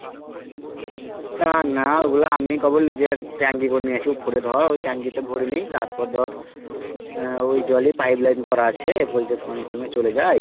না না ওগুলো আমি আমার নিজের ট্যাংকি তে নিয়েছি ওই উপরে ধর ওই ট্যাংকি তে ভরে নি তারপর ধর আহ ওই জলে pipe line করা আছে poultry farm এ চলে যায়।